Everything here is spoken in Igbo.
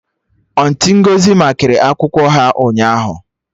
Auntị Ngọzi makịrị akwụkwọ ha ụnyaahụ